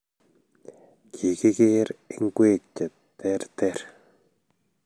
Kigigeer ingwek che terter